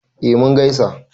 eh mun gaisa